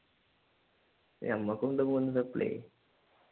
ഞമ്മക്കും ഉണ്ട് മൂന്ന് supply